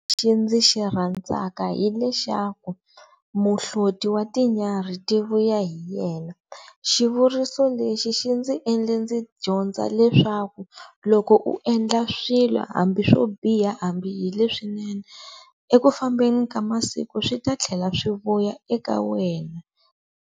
Lexi ndzi xirhandzaka hi lexaku muhloti wa tinyarhi ti vuya hi yena, xivuriso lexi xi ndzi endle ndzi dyondza leswaku loko u endla swilo hambi swo biha hambi hi leswinene eku fambeni ka masiku swi ta thlela swi vuya eka wena.